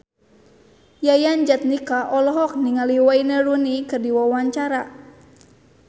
Yayan Jatnika olohok ningali Wayne Rooney keur diwawancara